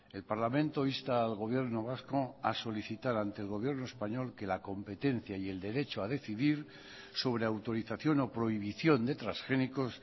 el parlamento insta al gobierno vasco a solicitar ante el gobierno español que la competencia y el derecho a decidir sobre autorización o prohibición de transgénicos